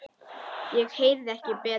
Ég heyrði ekki betur.